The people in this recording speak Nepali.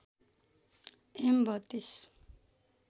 एम ३२